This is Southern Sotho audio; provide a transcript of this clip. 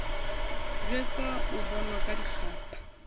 jwetswa o bonwa ka dikgapha